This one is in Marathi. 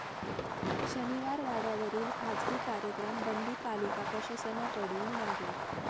शनिवारवाड्यावरील खासगी कार्यक्रम बंदी पालिका प्रशासनाकडून मागे